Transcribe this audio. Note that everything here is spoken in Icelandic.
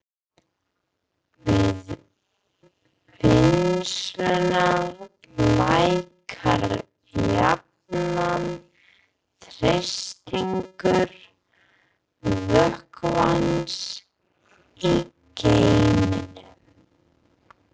Við vinnsluna lækkar jafnan þrýstingur vökvans í geyminum.